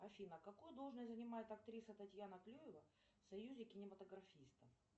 афина какую должность занимает актриса татьяна клюева в союзе кинематографистов